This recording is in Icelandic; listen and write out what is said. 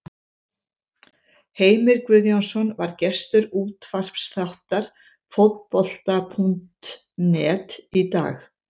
Heimir Guðjónsson var gestur útvarpsþáttar Fótbolta.net í dag.